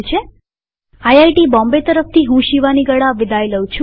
IIT Bombay તરફથી હું શિવાની ગડા વિદાય લઉં છુંટ્યુ્ટોરીઅલમાં ભાગ લેવા આભાર